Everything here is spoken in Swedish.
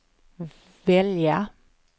välja